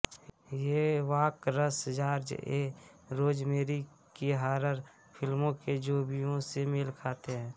ये walkers George A Rosemary की horror फ़िल्मों के ज़ोंबीयों से मेल खाते हैं